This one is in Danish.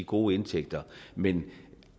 gode indtægter men